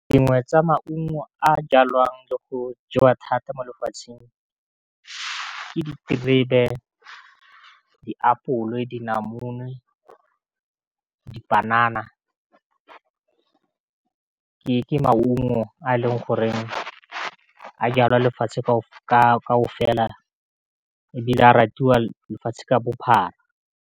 Dingwe tsa maungo a jalwang le go jewa thata mo lefatsheng ke diterebe, diapole, dinamune, dipanana, ke maungo a leng gore a jalwa lefatshe ebile a ratiwa lefatshe ka bophara.